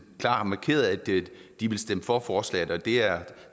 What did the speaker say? klart har markeret at de vil stemme for forslaget det er